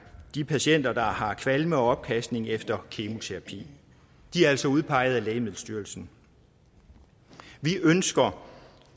patienter der har kvalme og opkastning efter kemoterapi de er altså udpeget af lægemiddelstyrelsen vi ønsker